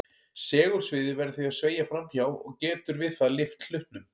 Segulsviðið verður því að sveigja fram hjá og getur við það lyft hlutnum.